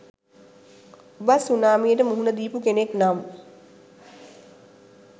ඔබත් සුනාමියට මුහුණ දීපු කෙනෙක් නම්